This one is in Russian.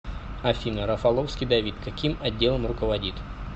афина рафаловский давид каким отделом руководит